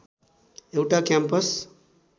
एउटा क्याम्पस